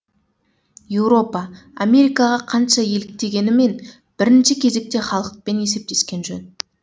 еуропа америкаға қанша еліктегенімен бірінші кезекте халықпен есептескен жөн